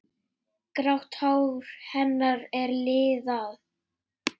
Grátt hár hennar er liðað.